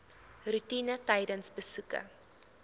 roetine tydens besoeke